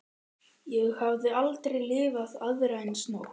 Ég hafði aldrei lifað aðra eins nótt.